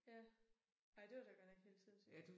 Ja. Ej det var da godt nok helt sindssygt